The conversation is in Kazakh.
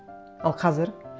ал қазір